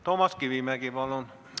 Toomas Kivimägi, palun!